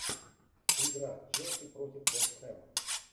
игра челси против вест хэм